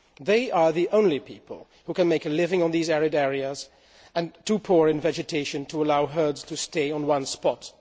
They are the only people who can make a living in these arid areas too poor in vegetation to allow herds to stay in one spot.